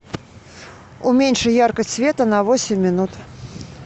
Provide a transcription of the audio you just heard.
уменьши яркость света на восемь минут